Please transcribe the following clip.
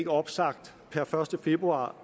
opsagt per første februar